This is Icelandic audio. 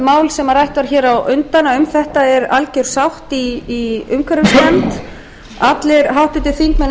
mál sem rætt er hér á undan að um þetta er alger sátt í umhverfisnefnd allir háttvirtir þingmenn